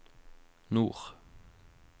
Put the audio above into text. nord